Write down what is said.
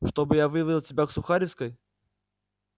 чтобы я вывел тебя к сухаревской